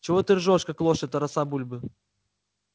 чего ты ржёшь как лошадь тараса бульбы